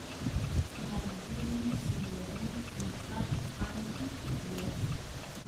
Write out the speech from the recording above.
Maldini, Zidane, Kluivert, Hagi, Weah